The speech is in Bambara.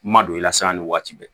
Ma don i lasan ni waati bɛɛ